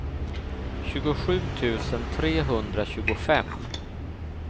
tjugosju tusen trehundratjugofem